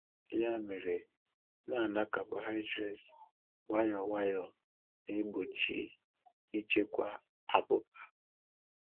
Ya mere, ịna-aṅa carbohydrates nwayọ nwayọ na-egbochi ịchekwa abụba.